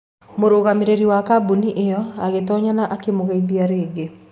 Mũrũgamĩrĩri wa kambuni ĩyo agĩtoonya na akĩmũgeithia rĩngĩ.